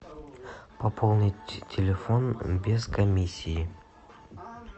пополнить телефон без комиссии